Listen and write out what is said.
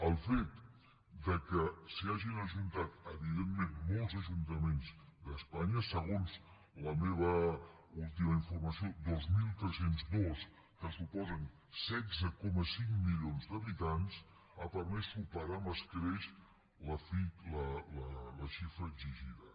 el fet que s’hi hagin ajuntat evidentment molts ajuntaments d’espanya segons la meva última informació dos mil tres cents i dos que suposen setze coma cinc milions d’habitants ha permès superar amb escreix la xifra exigida